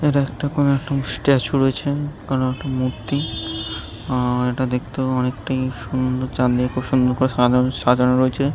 এটা একটা কোনো একটা স্ট্যাচু রয়েছে কোনো একটা মূর্তি আ ইটা দেখতে অনেকটা সুন্দর করে সাজানো রয়েছে ।